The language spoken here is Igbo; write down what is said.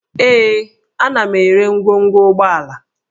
Ee, ana m ere ngwongwo ụgbọala